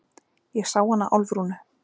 Ég sá hana Álfrúnu.